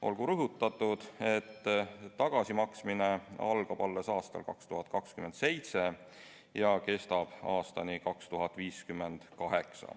Olgu rõhutatud, et tagasimaksmine algab alles aastal 2027 ja kestab aastani 2058.